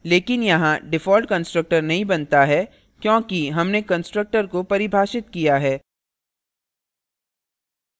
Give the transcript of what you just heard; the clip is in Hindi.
लेकिन यहाँ default constructor नहीं बनता है क्योंकि हमने constructor को परिभाषित किया है